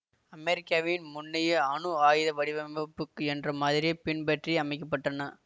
அமெரிக்காவின் முன்னைய அணுஆயுத வடிவமைப்புக்கு என்ற மாதிரியைப் பின்பற்றி அமைக்க பட்டன